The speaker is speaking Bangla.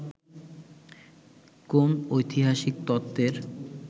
কোন ঐতিহাসিক তত্ত্বের